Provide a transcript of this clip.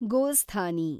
ಗೋಸ್ಥಾನಿ